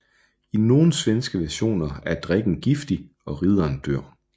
I nogle svenske versioner er drikken giftig og ridderen dør